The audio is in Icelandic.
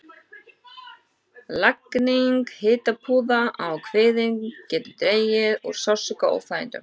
Lagning hitapúða á kviðinn getur dregið úr sársauka og óþægindum.